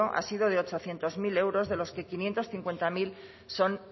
ha sido de ochocientos mil euros de los que quinientos cincuenta mil son